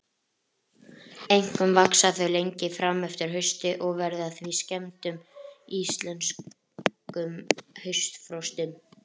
Einkum vaxa þau lengi fram eftir hausti og verða því fyrir skemmdum í íslenskum haustfrostum.